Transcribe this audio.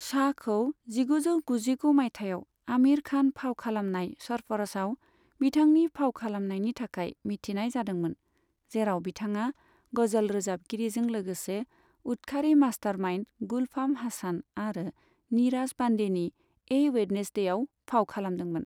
शाहखौ जिगुजौ गुजिगु माइथायाव आमिर खान फाव खालामनाय सारफार'शआव बिथांनि फाव खालामनायनि थाखाय मिथिनाय जादोंमोन, जेराव बिथाङा गजल रोजाबगिरिजों लागोसे उदखारि मास्टारमाइन्ड गुलफाम हासान आरो नीराज पान्डेनि ए वेडनेस्डेआव फाव खालामदोंमोन।